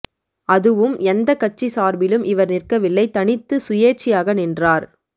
அதுவும் எந்த கட்சி சார்பிலும் இவர் நிற்கவில்லை தனித்து சுயேட்சையாக நின்றார்